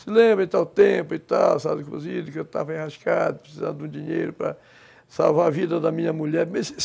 Se lembra em tal tempo e tal, sabe, inclusive, que eu estava enrascado, precisando de um dinheiro para salvar a vida da minha mulher.